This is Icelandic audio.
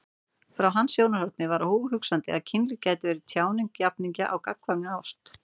Frá hans sjónarhorni var óhugsandi að kynlíf gæti verið tjáning jafningja á gagnkvæmri ást.